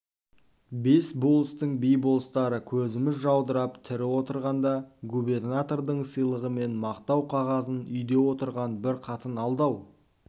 бес болыстың би-болыстары көзіміз жаудырап тірі отырғанда губернатордың сыйлығы мен мақтау қағазын үйде отырған бір қатын алды-ау